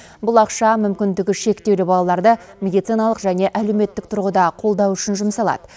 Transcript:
бұл ақша мүмкіндігі шектеулі балаларды медициналық және әлеуметтік тұрғыда қолдау үшін жұмсалады